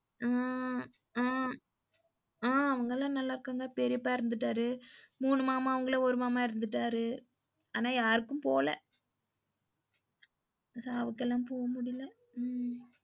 உம் உம் உம் அவங்கலாம் நல்லாருக்காங்க, பெரியப்பா இறந்துட்டாரு மூணு மாமன்கள்ள ஒரு மாமா இறந்துட்டாரு. ஆனா யாருக்கும் போல சாவுகெல்லாம் போ முடில உம்